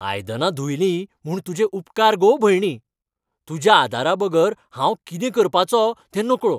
आयदनां धुयलीं म्हूण तुजे उपकार गो भयणी. तुज्या आदाराबगर हांव कितें करपाचो तें नकळो.